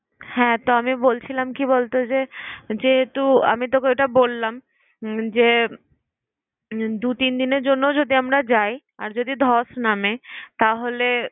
হ্যাঁ! তবে বলছিলাম কি বল তো যে, যেহেতু আমি তোকে ওইটা বললাম যে দু তিন দিনের জন্য যদি আমরা যাই আর যদি ধস নামে তাহলে